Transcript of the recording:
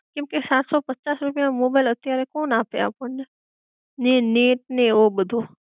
કેમકે સાતસો પચાસ રૂપિયા માં મોબાઈલ અત્યારે કોણ આપે અપણ ને, ને નેટ ને એવો બધો